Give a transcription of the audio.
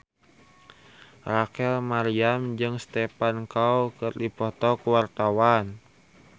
Rachel Maryam jeung Stephen Chow keur dipoto ku wartawan